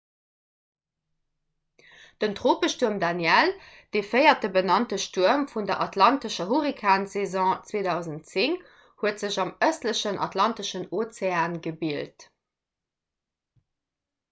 den tropestuerm danielle de véierte benannte stuerm vun der atlantescher hurrikansaison 2010 huet sech am ëstlechen atlanteschen ozean gebilt